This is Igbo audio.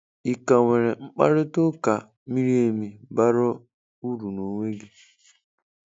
Ị ka nwere mkparịta ụka miri emi, bara uru n'onwe gị?